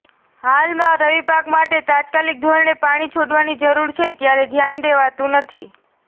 હાલમાં રવિપાક માટે તાત્કાલિક ધોરણે પાણી છોડવાની જરૃર છે ત્યારે ધ્યાન દેવાતુ નથી